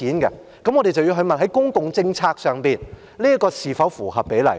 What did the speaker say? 我們便要問，在公共政策上，這是否合比例？